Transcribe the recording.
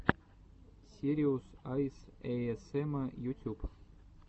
сириус айс эйэсэма ютюб